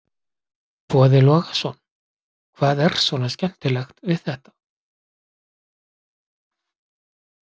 Boði Logason: Hvað er svona skemmtilegt við þetta?